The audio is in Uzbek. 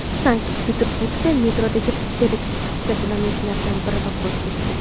Sankt-Peterburgda metrodagi terakt jabrlanuvchilaridan biri vafot etdi.